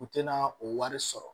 U tɛna o wari sɔrɔ